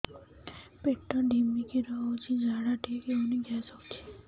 ପେଟ ଢିମିକି ରହୁଛି ଝାଡା ଠିକ୍ ହଉନି ଗ୍ୟାସ ହଉଚି